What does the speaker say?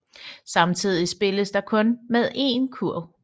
Samtidigt spilles der kun med én kurv